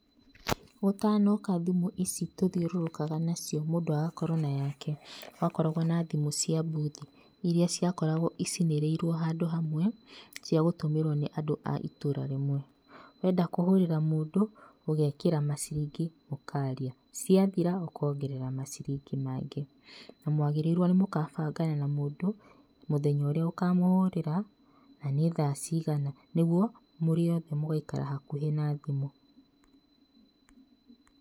Gũtanoka thĩmũ ici tũthiũrũrũkaga nacio, mũndũ agakorwo na yake, gwakoragwo na thimũ cia mbuthi iria ciakoragwo icinĩrĩirwo handũ hamwe cia gũtũmĩrwo nĩ andũ a itũra rĩmwe. Wenda kũhũrĩra mũndũ ũgekĩra maciringi ũkaria, ciathira ũkongerera maciringi mangĩ. Na mwagĩrĩirwo nĩ mũgabangana na mũndũ mũthenya ũrĩa ũkamũhũrĩra na nĩ thaa cigana nĩguo mũrĩ othe mũgaikara hakuhĩ na thimũ.